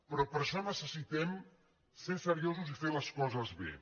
però per a això necessi·tem ser seriosos i fer les coses bé